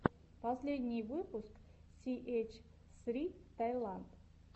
последний выпуск си эйч ссри таиланд